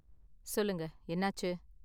சொல்லுங்க, என்னாச்சு?